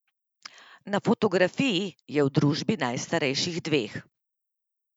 Na fotografiji je v družbi najstarejših dveh.